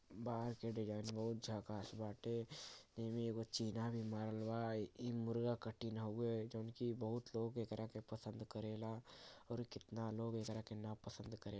बाहर से डिजाइन बहुत झकास बाटे। एमे एगो चिन्हा भी मार बा। ई मुर्गा कटिंग हउवे जॉन कि बहुत लोग एकरा के पसंद करेला और कितना लोग एकरा के नापसंद करे --